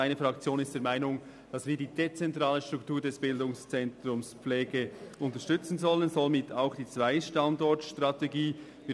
Meine Fraktion ist der Meinung, dass wir die dezentrale Struktur des BZ Pflege und somit auch die Zwei-Standorte-Strategie unterstützen sollen.